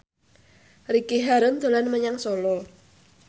Ricky Harun dolan menyang Solo